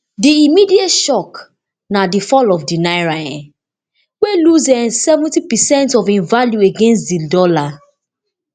di immediate shock na di fall of di naira um wey lose um seventy percent of im value against di dollar